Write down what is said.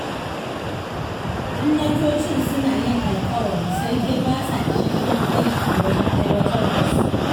Gwamnatocin suna yin alƙawari sai dai ba sa isasshen aiki wajen aiwatar da su.